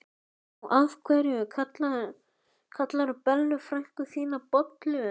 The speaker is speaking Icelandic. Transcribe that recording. Og af hverju kallarðu Bellu frænku þína bollu?